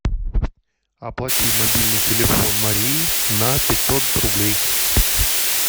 оплати мобильный телефон марии на пятьсот рублей